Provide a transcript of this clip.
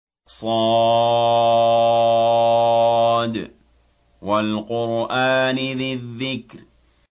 ص ۚ وَالْقُرْآنِ ذِي الذِّكْرِ